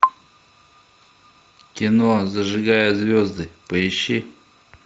кино зажигая звезды поищи